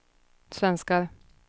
svenskar